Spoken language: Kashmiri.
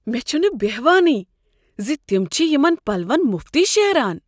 مےٚ چھنہٕ بہوانٕے ز تم چھ یمن پلون مفتٕے شیران۔